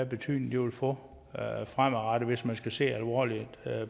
betydning det vil få fremadrettet hvis man skal se alvorligt